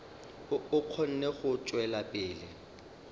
a kgone go tšwela pele